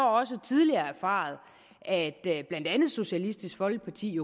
også tidligere har erfaret at blandt andet socialistisk folkeparti